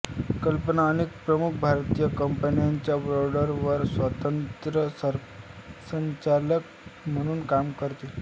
कल्पना अनेक प्रमुख भारतीय कंपन्यांच्या बोर्डवर स्वतंत्र संचालक म्हणून काम करते